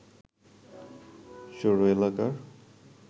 সৌর এলাকা